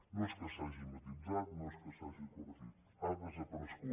no és que s’hagi matisat no és que s’hagi corregit ha desaparegut